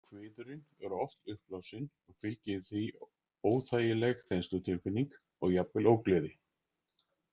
Kviðurinn er oft uppblásinn og fylgir því óþægileg þenslutilfinning og jafnvel ógleði.